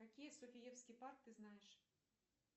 какие софиевский парк ты знаешь